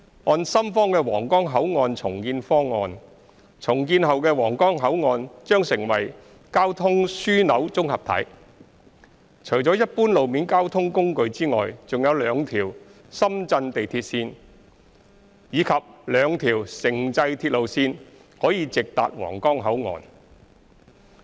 按深方的皇崗口岸重建方案，重建後的皇崗口岸將成為交通樞紐綜合體，除了一般路面交通工具外，還有兩條深圳地鐵線及兩條城際鐵路線可直達皇崗口岸。